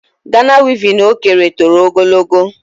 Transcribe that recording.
Gana wevin o kere toro ogologo.